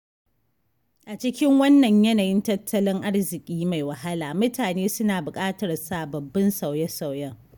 A cikin wannan yanayin tattalin arziki mai wahala mutane suna bukatar sababbin sauye-sauyen.